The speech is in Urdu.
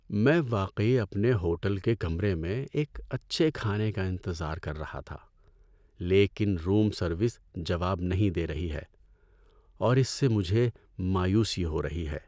میں واقعی اپنے ہوٹل کے کمرے میں ایک اچھے کھانے کا انتظار کر رہا تھا، لیکن روم سروس جواب نہیں دے رہی ہے اور اس سے مجھے مایوسی ہو رہی ہے۔